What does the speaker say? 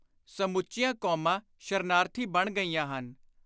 ਸਮੁੱਚੀਆਂ ਕੌਮਾਂ ਸ਼ਰਨਾਰਥੀ ਬਣ ਗਈਆਂ ਹਨ।